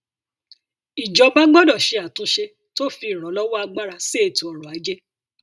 ìjọba gbọdọ ṣe àtúnṣe tó fi ìrànlọwọ agbára sí ètò ọrọ ajé